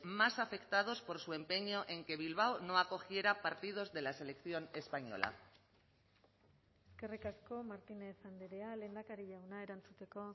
más afectados por su empeño en que bilbao no acogiera partidos de la selección española eskerrik asko martínez andrea lehendakari jauna erantzuteko